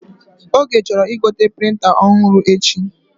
Oge chọrọ igote prịnta ọhụrụ echi